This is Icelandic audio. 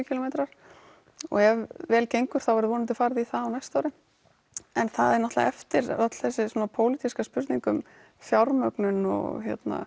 kílómetrar og ef vel gengur þá verður vonandi farið í það á næsta ári en það er náttúrulega eftir öll þessi pólitíska spurning um fjármögnun og